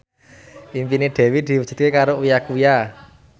impine Dewi diwujudke karo Uya Kuya